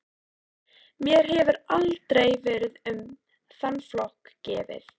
Mér hefur aldrei verið um þann flokk gefið.